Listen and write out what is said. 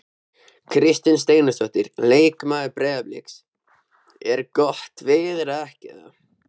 Kristinn Steindórsson leikmaður Breiðabliks: Er gott veður eða ekki?